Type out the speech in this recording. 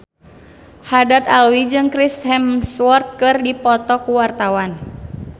Haddad Alwi jeung Chris Hemsworth keur dipoto ku wartawan